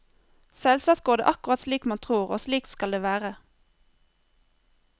Selvsagt går det akkurat slik man tror, og slik skal det være.